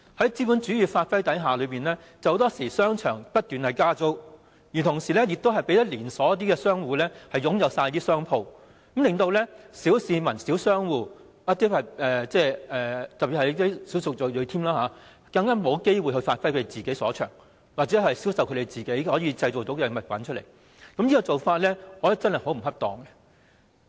在資本主義發揮的影響下，很多時候商場不斷加租，同時讓連鎖商戶擁有全部商鋪，令小市民、小商戶，特別是小數族裔沒有機會發揮其所長或銷售他們製造的物品，我認為這種做法真的很不恰當。